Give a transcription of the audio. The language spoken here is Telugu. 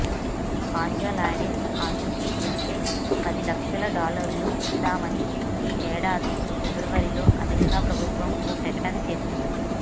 హంజా లాడెన్ ఆచూకీ చెబితే పదిలక్షల డాలర్లు ఇస్తామని ఈ ఏడాది ఫిబ్రవరిలో అమెరికా ప్రభుత్వం ఓ ప్రకటన చేసింది